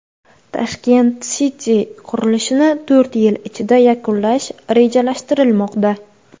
Tashkent City qurilishini to‘rt yil ichida yakunlash rejalashtirilmoqda.